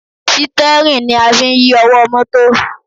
Sítẹ́rìn ni a fi ń yí ọwọ́ mọ́tò